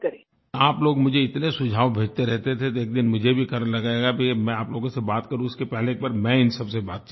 आप लोग मुझे इतने सुझाव भेजते रहते थे तो एक दिन मुझे भी लगा कि मैं आप लोगों से बात करूँ कि इससे पहले मैं इन सबसे से बातचीत करूँ